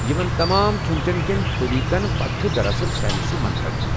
یمن تمام کھٮ۪ن چٮ۪ن کٮ۪ن طریقن پتہٕ چُھ دراصل ساینسی منطق۔